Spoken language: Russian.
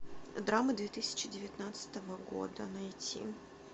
драмы две тысячи девятнадцатого года найти